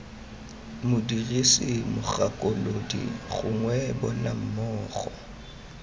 modirisi mogakolodi gongwe bona mmogo